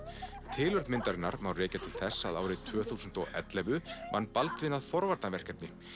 tilurð myndarinnar má rekja til þess að árið tvö þúsund og ellefu vann Baldvin að forvarnarverkefni